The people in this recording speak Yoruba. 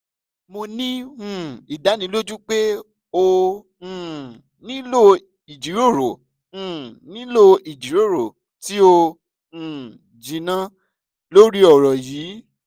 mo ni um idaniloju pe o um nilo ijiroro um nilo ijiroro ti o um jinna lori ọrọ yii